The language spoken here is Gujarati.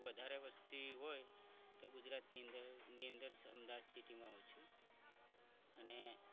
વધારે વસ્તી હોય તો ગુજરાતની અંદર અમદાવાદ city માં હોય છે અને